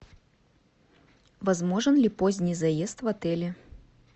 возможен ли поздний заезд в отеле